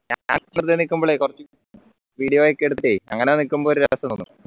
video ഒക്കെ എടുത്ത് അങ്ങനെ നിൽക്കുമ്പോ ഒരു രസണ്